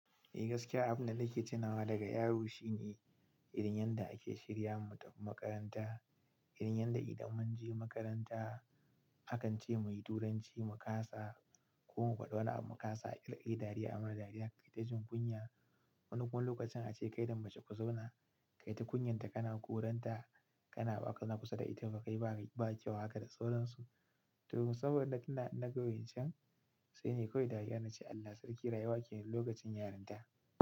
Eh gaskiya abin da nake tunawa daga yaro shine irin yadda ake shirya mu tafi makaranta, irin yadda idan mun je makaranta akan ce muyi turanci mu kasa ko mu gwada wani mu kasa ƙirƙiri dariya amuna dariya ka kai ta jin kunya. Wani wani lokacin ace kaida mace ku zauna, kai ta kunyan ta kana koranta kana baza zauna kusa da ita ba kai ba kyau haka da sauransu. To saboda kina nagowancen sai ne kawai dariya nace Allah sarki rayuwa kenan lokacin yarinta.